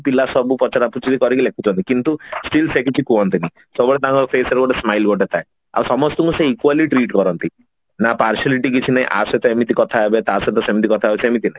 ପିଲା ସବୁ ପଚରା ପଚାରି କରି ଲେଖୁଛନ୍ତି କିନତୀ still ସେ କିଛି କୁହନ୍ତିନି ସବୁବେଳେ ତାଙ୍କ face ରେ Goat smile ଗୋଟେ ଥାଏ ଆଉ ସମସ୍ତଙ୍କୁ ସେ equally treat କରନ୍ତି ନା partiality କିଛି ନାହିଁ ୟା ସହିତ ଏମିତି କଥା ହେବେ ଯାସହିତ ସେମୋତି କଥା ହେବେ ସେମିତି କିଛି ନାହିଁ